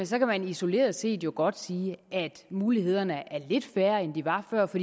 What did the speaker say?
så kan man isoleret set jo godt sige at mulighederne er lidt færre end de var før for